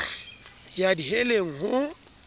ke ya di heleng ho